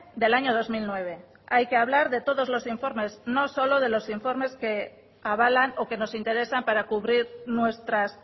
del año dos mil nueve hay que hablar de todos los informes no solo de los informes que avalan o que nos interesan para cubrir nuestras